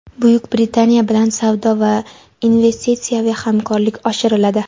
Buyuk Britaniya bilan savdo va investitsiyaviy hamkorlik oshiriladi.